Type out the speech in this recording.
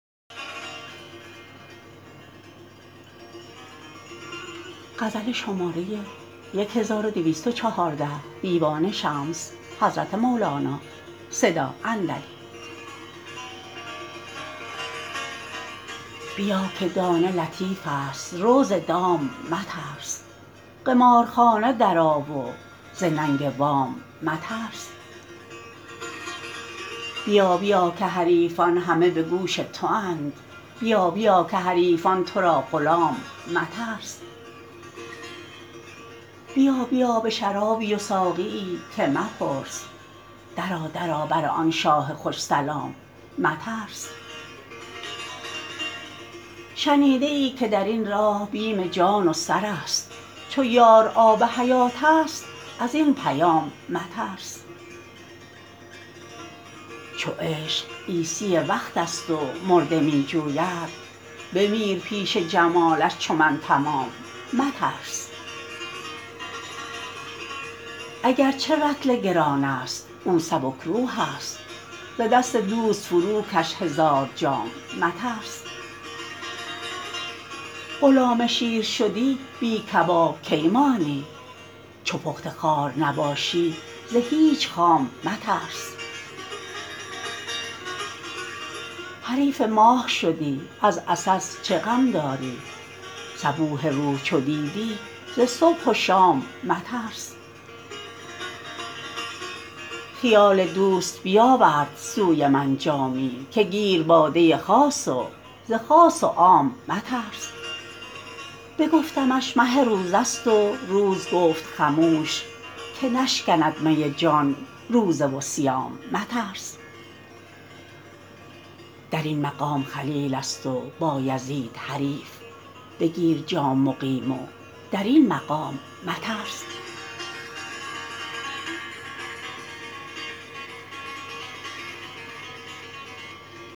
بیا که دانه لطیفست رو ز دام مترس قمارخانه درآ و ز ننگ وام مترس بیا بیا که حریفان همه به گوش تواند بیا بیا که حریفان تو را غلام مترس بیا بیا به شرابی و ساقیی که مپرس درآ درآ بر آن شاه خوش سلام مترس شنیده ای که در این راه بیم جان و سر است چو یار آب حیاتست از این پیام مترس چو عشق عیسی وقتست و مرده می جوید بمیر پیش جمالش چو من تمام مترس اگر چه رطل گرانست او سبک روحست ز دست دوست فروکش هزار جام مترس غلام شیر شدی بی کباب کی مانی چو پخته خوار نباشی ز هیچ خام مترس حریف ماه شدی از عسس چه غم داری صبوح روح چو دیدی ز صبح و شام مترس خیال دوست بیاورد سوی من جامی که گیر باده خاص و ز خاص و عام مترس بگفتمش مه روزه ست و روز گفت خموش که نشکند می جان روزه و صیام مترس در این مقام خلیلست و بایزید حریف بگیر جام مقیم و در این مقام مترس